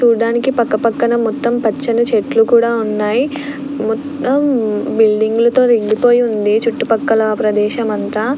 చూడ్డానికి పక్క పక్కన పచ్చని చెట్లు కూడా ఉన్నాయి మొత్తం బిల్డింగ్ లతో నిండిపోయింది చుట్టుపక్కల ప్రదేశం అంతా.